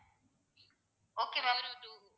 okay ma'am